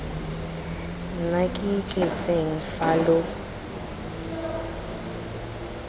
nna ke itseng fa lo